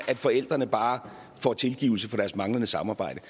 at forældrene bare får tilgivelse for deres manglende samarbejde